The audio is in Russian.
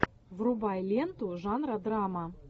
врубай ленту жанра драма